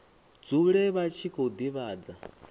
dzule vha tshi khou divhadza